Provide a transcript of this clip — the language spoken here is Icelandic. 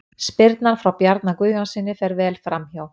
Spyrnan frá Bjarna Guðjónssyni fer vel framhjá.